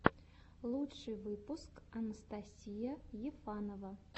лучший выпуск анастасия ефанова